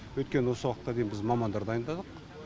өйткені осы уақытқа дейін біз мамандар дайындадық